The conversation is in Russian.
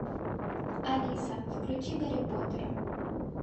алиса включи гарри поттера